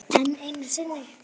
Enn einu sinni.